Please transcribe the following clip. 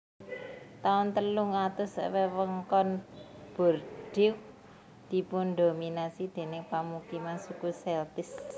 Taun telung atus wewengkon Bordeaux dipundhominasi déning pamukiman Suku Celtic